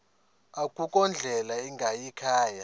akukho ndlela ingayikhaya